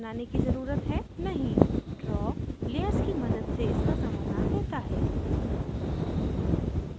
नहीं draw layers की मदद से इसका समाधान देता है